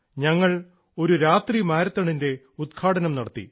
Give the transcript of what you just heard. ഞങ്ങൾ ഒരു രാത്രി മാരത്തോണിൻറെ ഉദ്ഘാടനം നടത്തി